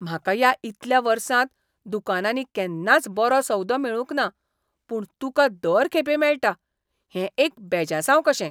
म्हाका ह्या इतल्या वर्सांत दुकानांनी केन्नाच बरो सौदो मेळूंक ना पूण तुका दर खेपे मेळटा, हें एक बेजासांव कशें!